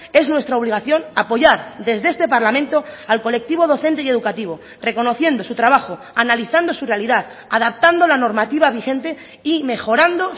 es nuestra obligación apoyar desde este parlamento al colectivo docente y educativo reconociendo su trabajo analizando su realidad adaptando la normativa vigente y mejorando